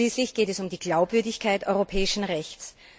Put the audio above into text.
Schließlich geht es um die Glaubwürdigkeit europäischen Rechts.